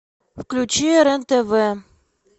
включи рен тв